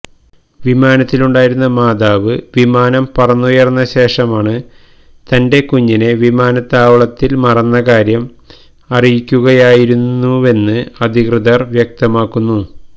വിമാനത്തിലുണ്ടായിരുന്ന മാതാവ് വിമാനം പറന്നുയര്ന്ന ശേഷമാണ് തന്റെ കുഞ്ഞിനെ വിമാനത്താവളത്തില് മറന്ന കാര്യം അറിയിക്കുകയായിരുന്നുവെന്ന് അധികൃതര് വ്യക്തമാക്കുന്നു